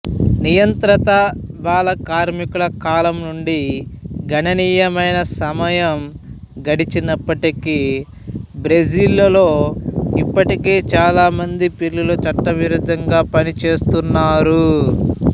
నియంత్రిత బాల కార్మికుల కాలం నుండి గణనీయమైన సమయం గడిచినప్పటికీ బ్రెజిల్లో ఇప్పటికీ చాలా మంది పిల్లలు చట్టవిరుద్ధంగా పనిచేస్తున్నారు